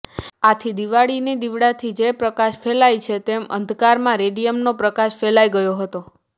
આથી દીવાળીના દીવડાથી જે રીતે પ્રકાશ ફેલાય છે તેમ અંધકારમાં રેડીયમનો પ્રકાશ ફેલાઈ ગયો હતો